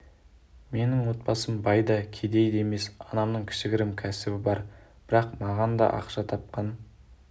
менің отбасым бай да кедей де емес анамның кішігірім кәсібі бар бірақ маған да ақша тапқан